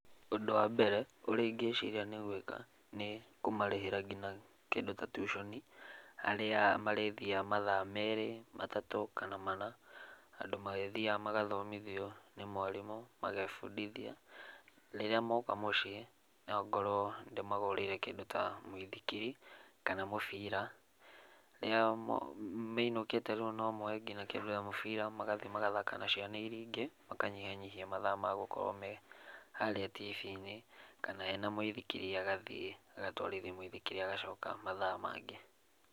Ũndũ wa mbere ũrĩa ingĩciria gũika nĩ kũmarĩhĩra nginya kĩndũ ta tuconi harĩa marĩthiaga mathaa merĩ, matatũ kana mana, handũ marĩthiaga magathomithio nĩ mwarimũ magebũndithia, rĩrĩa moka mũciĩ no ngorwo ndĩmagũrĩire kĩndũ ta mũithikiri kana mũbira, rĩrĩa mainũkĩte rĩu no moe nginya kĩndũ ta mũbira magathiĩ magathaka nacio, ningĩ makanyihanyihia mathaa ma gũkorwo me harĩa Tv-inĩ, kana ena mũithikiri agathiĩ agatwarithi mwithikiri agacoka mathaa mangĩ.